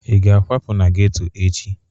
Ị ga-akwapu n'geto echi?